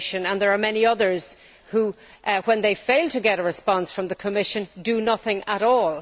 There are many others who, when they fail to get a response from the Commission, do nothing at all.